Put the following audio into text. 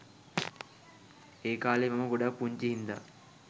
ඒකාලේ මම ගොඩක් පුංචි හින්දා